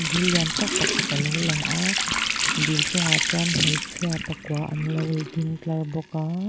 il lian tak pakhat alo lang a dil chungah chuan hmeichhia pakua an lo ding tlar bawk a.